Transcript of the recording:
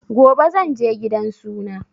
Gobe zanje gidan suna